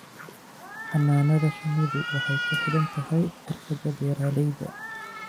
Xannaanada shinnidu waxay ku xidhan tahay xirfadda beeralayda.